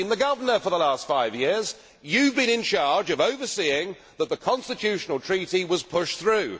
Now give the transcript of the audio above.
you have been the governor for the last five years. You have been in charge of overseeing that the Constitutional Treaty was pushed through.